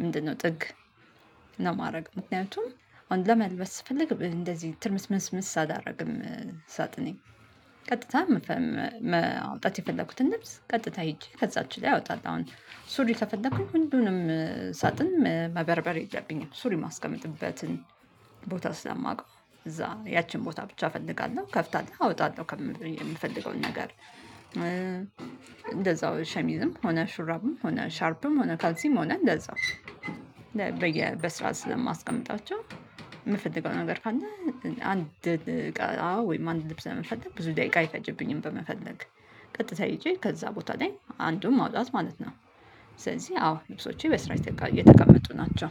ምንድነው ጥግ? ነው የማደርገው ምክንያቱም አንድ ለመልበስ ስፈልግ እንደዚህ ትርምስምስ አላደርግም። ሳጥኔ ቀጥታ ማውጣት የፈለኩትን ልብስ ቀጥታ ሄጄ ከዛች ላይ አወጣለሁ። አሁን ሱሪ ከፈለኩኝ ሁሉንም ሳጥን መበርበር የለብኝም። ሱሪ የማስቀመጥበትን ቦታ ስላማውቀው እዛ ያቺን ቦታ ብቻ እፈልጋለሁ ከፍታለሁ አወጣለሁ የምፈልገውን ነገር። እንደዛው ሸሚዝም ሆነ ሹራብም ሆነ ሻርፕም ሆነ ካልሲም ሆነ እንደዛው። በስርዓት ስለማስቀምጣቸው የምፈልገው ነገር ካለ አንድ አዎ ወይም አንድ ልብስ ለመፈለግ ብዙ ደቂቃ አይፈጀብኝም። በመፈለግ ቀጥታ ሄጄ ከዛ ቦታ ላይ አንዱን ማውጣት ማለት ነው። ስለዚህ አዎ ልብሶቼ በስርዓት የተቀመጡ ናቸው